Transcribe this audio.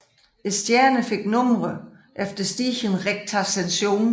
Stjernerne fik numre efter stigende rektascension